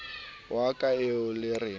wa ka eo le re